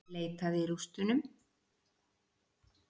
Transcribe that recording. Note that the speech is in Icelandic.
Leitað í rústunum